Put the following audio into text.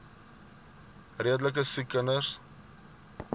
redelike siek kinders